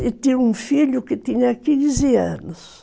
E tinha um filho que tinha quinze anos.